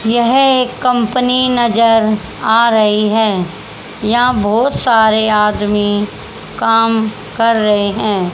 यह एक कंपनी नजर आ रही है यहां बहुत सारे आदमी काम कर रहे हैं।